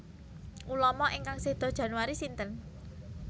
Ulama ingkang sedo Januari sinten?